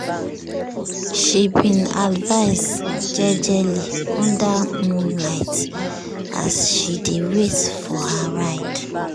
she bin dance jejely under moonlight as she dey wait for her ride.